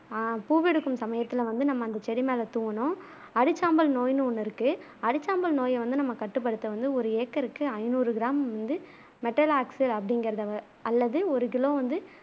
ஆஹ் பூவெடுக்கும் சமயத்துல வந்து நம்ம அந்த செடி மேல தூவணும் அரிச்சாம்பல் நோய் ஒன்னு இருக்கு அரிச்சாம்பல் நோய்யை நம்ம கட்டுப்படுத்த வந்த ஒரு ஏக்கருக்கு ஐநூறு கிராம் வந்து மெட்டல்லாக்சு அப்பிடிங்குறத வ அல்லது ஒரு கிலோ வந்து